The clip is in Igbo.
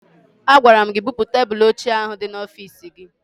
Agwara m gị bupu tebụlụ ochie ahụ dị n'ọfiisi gị!